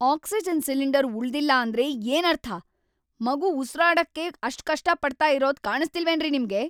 Oxygen cylinder ಉಳ್ದಿಲ್ಲ ಅಂದ್ರೆ ಏನರ್ಥ? ಮಗು ಉಸ್ರಾಡೋಕೆ ಅಷ್ಟ್ ಕಷ್ಟಪಡ್ತಾ ಇರೋದ್ ಕಾಣಿಸ್ತಿಲ್ವೇನ್ರಿ ನಿಮ್ಗೆ?